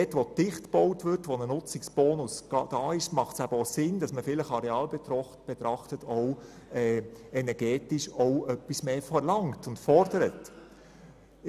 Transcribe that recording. Dort, wo dicht gebaut wird, wo ein Nutzungsbonus vorhanden ist, macht es Sinn, arealbetrachtet energetisch etwas mehr zu verlangen.